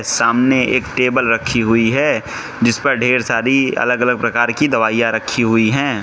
सामने एक टेबल रखी हुई है जिस पर ढेर सारी अलग अलग प्रकार की दवाइयां रखी हुई हैं।